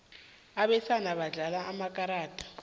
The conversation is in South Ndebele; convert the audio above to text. abesana badlala amakarada